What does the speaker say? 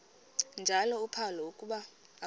njalo uphalo akuba